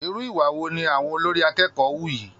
Irú ìwà wo ni àwọn olórí akẹ́kọ̀ọ́ hù yìí!